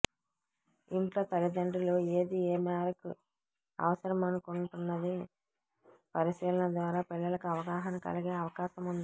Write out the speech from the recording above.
ఇంట్లో తల్లిదండ్రులు ఏది ఏ మేరకు అవసరమనుకుంటున్నది పరిశీలన ద్వారా పిల్లలకు అవగాహన కలిగే అవకాశముంది